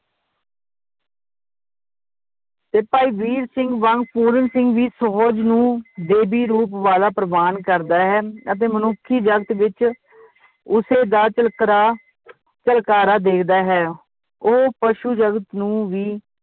ਤੇ ਭਾਈ ਵੀਰ ਸਿੰਘ ਵਾਂਗ ਪੂਰਨ ਸਿੰਘ ਵੀ ਸਹਿਜ ਨੂੰ ਦੇਵੀ ਰੂਪ ਵਾਲਾ ਪ੍ਰਵਾਨ ਕਰਦਾ ਹੈ ਅਤੇ ਮਨੁੱਖੀ ਜਗਤ ਵਿਚ ਉਸੇ ਦਾ ਝਲਕਰਾ ਝਲਕਾਰਾ ਦੇਖਦਾ ਹੈ ਉਹ ਪਸ਼ੂ ਜਗਤ ਨੂੰ ਵੀ